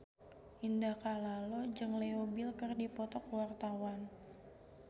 Indah Kalalo jeung Leo Bill keur dipoto ku wartawan